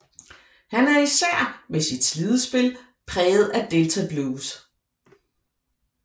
Han er især med sit slidespil præget af delta blues